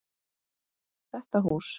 Þetta hús?